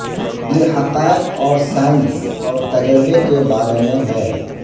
یہ حقائق اور سائنس اور تجربہ کے بارے میں ہے